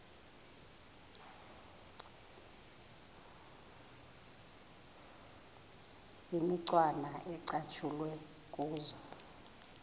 imicwana ecatshulwe kuzo